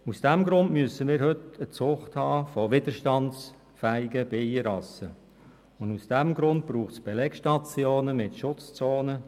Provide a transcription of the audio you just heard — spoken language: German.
Aus diesem Grund brauchen wir heute eine Zucht mit widerstandsfähigen Bienenrassen und auch Belegstationen mit Schutzzonen.